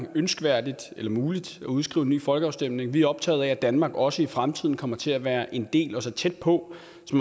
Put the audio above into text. er ønskværdigt eller muligt at udskrive en ny folkeafstemning vi er optaget af at danmark også i fremtiden kommer til at være en del af og tæt på